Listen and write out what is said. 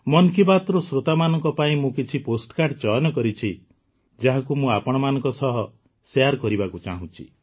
ମନ୍ କି ବାତ୍ର ଶୋ୍ରତାମାନଙ୍କ ପାଇଁ ମୁଁ କିଛି ପୋଷ୍ଟକାର୍ଡ଼ ଚୟନ କରିଛି ଯାହାକୁ ମୁଁ ଆପଣମାନଙ୍କ ସହ ଶେୟାର କରିବାକୁ ଚାହୁଁଛି